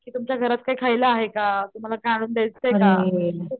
कि तुमच्या घरात काही खायला आहे का तुम्हाला काही आणून देयच का.